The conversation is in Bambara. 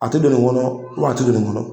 A tɛ don nin kɔnɔ u wa a tɛ don nin kɔnɔ.